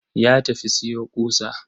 Ya tafi siyo ƙusa.